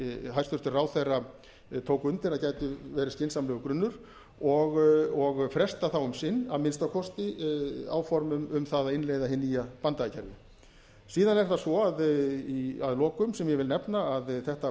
hæstvirtur ráðherra tók undir að gæti verið skynsamlegur grunnur og fresta þá um sinn að minnsta kosti áformum um það að innleiða hið nýja banndagakerfi síðan er það svo að lokum sem ég vil nefna að þetta